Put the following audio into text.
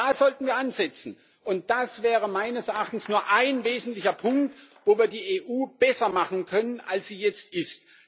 Da sollten wir ansetzen, und das wäre meines Erachtens nur ein wesentlicher Punkt, wo wir die EU besser machen können, als sie jetzt ist.